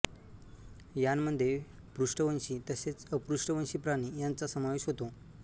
यांमध्ये पृष्ठवंशी तसेच अपृष्ठवंशी प्राणी यांचा समावेश होतो